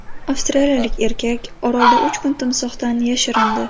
Avstraliyalik erkak orolda uch kun timsohdan yashirindi.